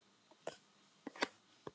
Við vorum kölluð upp eftir stafrófsröð.